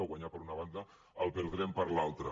o guanyar per una banda ho perdrem per l’altra